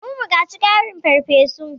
Mun buƙaci ƙarin fefofi.